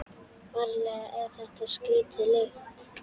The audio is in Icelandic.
Ferlega er þetta skrítin lykt.